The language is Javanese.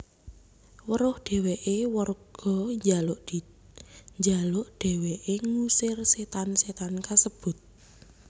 Weruh dheweke warga njaluk dheweke ngusir setan setan kasebut